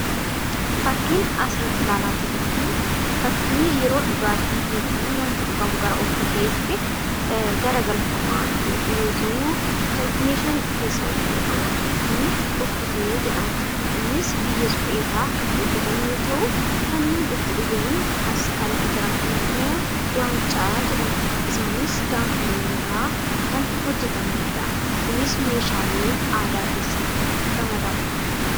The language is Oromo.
Fakkiin asirratti ilaalaa jirru kun fakkii yeroo dhugaatii yookiin immoo wanti dhugamu gara okkoteetti garagalfamaa jiru yoo ta'u, kan meeshaa keessaa itti naqamaa jiru kun okkotee jedhama. Innis biyyee supheerraa hojjatamu yoo ta'u, kanneen itti dhugan as kan jiran immoo waancaa jedhamu. Isaanis gaafa looniirraa hojjatamu. Kunis meeshaalee aadaa keessatti ramadamu.